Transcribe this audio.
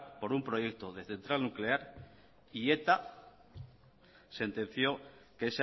por un proyecto de central nuclear y eta sentenció que